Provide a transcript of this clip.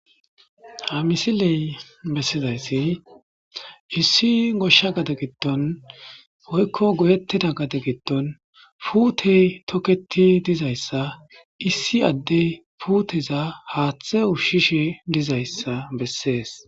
Ha misiley besizays issi gosha gade gidon woyko goyetida gade gidon putey toketi dizaysa issi ade puteza hathe ushishe dizaysa beses